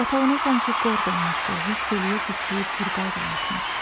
Yatağına sanki qord olmuşdu, hiss eləyirdi ki, Turqay da yatmır.